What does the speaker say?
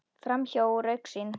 Framhjá og úr augsýn.